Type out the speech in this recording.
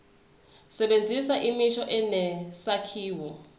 sebenzisa imisho enesakhiwo